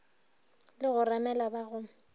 le go remela ba go